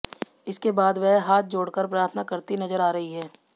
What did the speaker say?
इसके बाद वह हाथ जोड़कर प्रार्थना करती नजर आ रही हैं